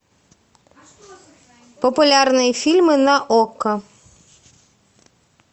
популярные фильмы на окко